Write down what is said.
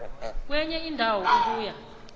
kwenye indawo ukuya